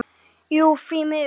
Jú því miður.